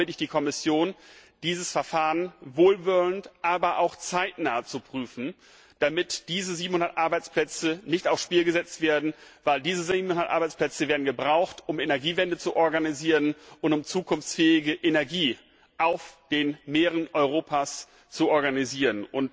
Darum bitte ich die Kommission, dieses Verfahren wohlwollend, aber auch zeitnah zu prüfen, damit diese 700 Arbeitsplätze nicht aufs Spiel gesetzt werden, weil diese Arbeitsplätze gebraucht werden, um die Energiewende und um zukunftsfähige Energie auf den Meeren Europas zu organisieren.